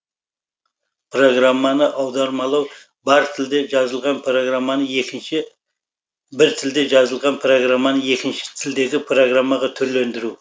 программаны аудармалау бір тілде жазылған программаны екінші тілдегі программаға түрлендіру